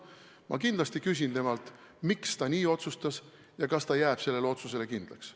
Ma kindlasti küsin temalt, miks ta nii otsustas ja kas ta jääb sellele otsusele kindlaks.